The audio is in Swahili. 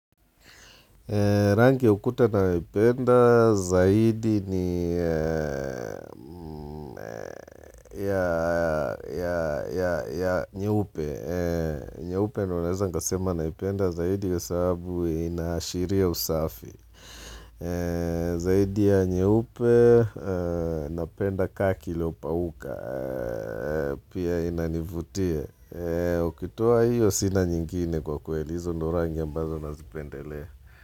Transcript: Rangi ukuta ninayo ipenda zaidi ni ya nyeupe. Nyeupe ndionaweza nikasema naipenda zaidi kwasabu inashiria usafi. Zaidi ya nyeupe napenda kaki iliopauka. Pia inanivutia. Ukitoa hiyo sina nyingine kwa kweli hizo ndo rangi ambazo nazipendelea.